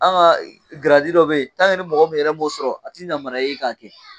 An ka giradi dɔ bɛ yen ni mɔgɔ min yɛrɛ m'o sɔrɔ a tɛ namariya i ye ka kɛ